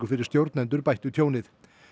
fyrir stjórnendur bættu tjónið